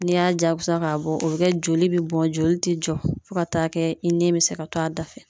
N'i y'a jaakusa k'a bɔ o bɛ kɛ joli bɛ bɔn joli tɛ jɔ fo ka taa kɛ i nin bɛ se ka to a da fɛ.